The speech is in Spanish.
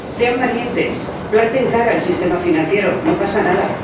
Sean valientes, planten cara al sistema financiero, no pasa nada.